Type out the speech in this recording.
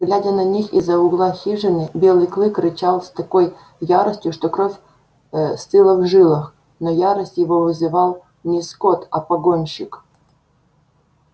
глядя на них из за угла хижины белый клык рычал с такой яростью что кровь стыла в жилах но ярость его вызывал не скотт а погонщик